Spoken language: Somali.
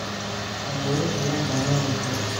Awowe ayan lanolnhy.